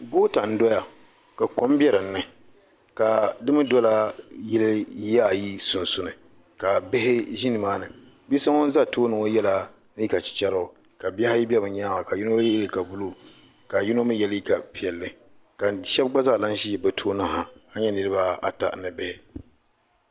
Goota n dɔya ka kɔm bɛ din ni ka di mi dɔla yiya ayi sunsuuni ka bihi ʒi ni maa ni bia so ŋun za tooni ŋɔ yɛla liiga chicharigu ka bihi ayi bɛ bi nyaanga ka yino yɛ liiga buluu ka yino mi yɛ liiga piɛlli ka shɛba gba zaa lan ʒi bi tooni ha ka nyɛ niriba ata ni bihi.